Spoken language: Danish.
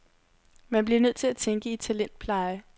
Man bliver nødt til at tænke i talentpleje.